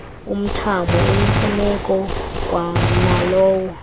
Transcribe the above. umthamo oyimfuneko kwanalowo